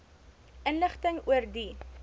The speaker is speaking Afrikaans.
inligting oor die